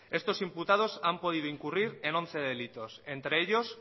estos imputados han podido incurrir en once delitos entre ellos